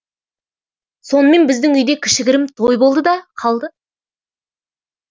сонымен біздің үйде кішігірім той болды да қалды